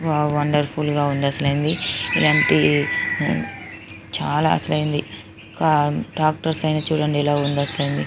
wow చాల wonderful గ ఉంటుంది ఇలాంటి చాల అసలింది ట్రాక్టర్ ఐన చుడండి అసలింది--